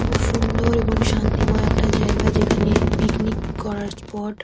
খুব সুন্দর এবং শান্তিময় একটা জায়গা যেখানে পিকনিক করার স্পট ।